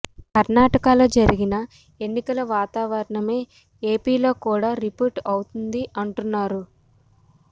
కర్ణాటక లో జరిగిన ఎన్నికల వాతావరణమే ఏపీలో కూడా రిపీట్ అవుతుంది అంటున్నారు